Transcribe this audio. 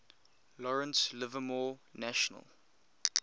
lawrence livermore national